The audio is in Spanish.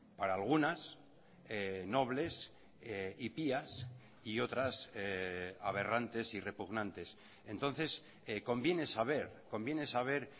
para algunas nobles y pías y otras aberrantes y repugnantes entonces conviene saber conviene saber